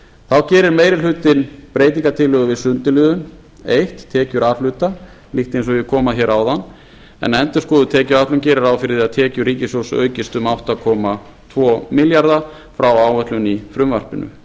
þá gerir meiri hlutinn breytingartillögur við sundurliðun einu tekjur a hluta líkt eins og ég kom að hér áðan en endurskoðuð tekjuáætlun gerir ráð fyrir að tekjur ríkissjóðs aukist um átta þúsund tvö hundruð og tvo milljarða frá áætlun í frumvarpinu